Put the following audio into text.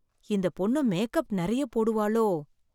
இந்த பொண்ணு மேக்கப் நெறைய போடுவாளோ?